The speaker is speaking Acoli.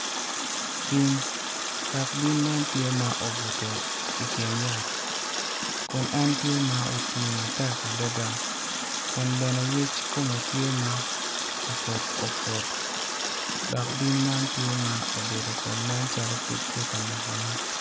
Bim, dok bim man tye ma obuto i kin yat kun entye ma oti matek adada kun bene yec kome tye ma oput oput dok bim man tye ma obedo kun nen calo kec tye ka nekone.